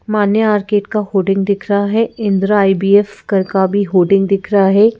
मान्या arcade का hoarding दिख रहा है इंदिरा आई_वी_एफ घर का भी होर्डिंग दिख रहा है।